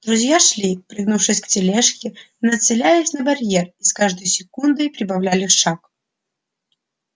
друзья шли пригнувшись к тележке нацелясь на барьер и с каждой секундой прибавляли шаг